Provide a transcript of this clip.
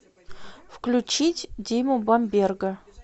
включить диму бамберга